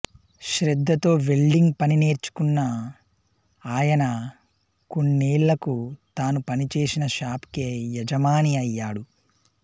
శ్రద్ధతో వెల్డింగ్ పని నేర్చుకున్న ఆయన కొన్నేళ్లకు తాను పనిచేసిన షాప్ కే యజమాని అయ్యాడు